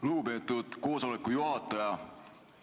Lugupeetud koosoleku juhataja!